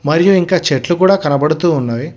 మరియు ఇంకా చెట్లు కూడ కనబడుతూ ఉన్నవి.